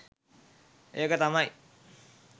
ඒක තමයි